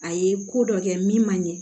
A ye ko dɔ kɛ min man ɲɛ